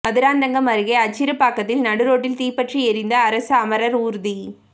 மதுராந்தகம் அருகே அச்சிறுப்பாக்கத்தில் நடுரோட்டில் தீப்பற்றி எரிந்த அரசு அமரர் ஊர்தி